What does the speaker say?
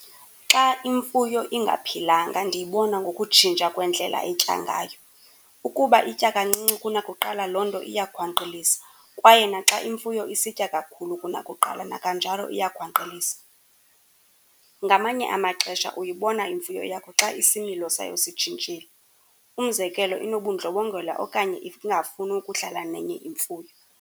Xa imfuyo ingaphilanga ndiyibona ngokutshintsha kwendlela etya ngayo. Ukuba itya kancinci kunakuqala, loo nto iyakhwankqilisa, kwaye naxa imfuyo isitya kakhulu kunakuqala nakanjalo iyakhwankqilisa. Ngamanye amaxesha uyibona imfuyo yakho xa isimilo sayo sitshintshile, umzekelo, inobundlobongela okanye ingafuni ukudlala nenye imfuyo.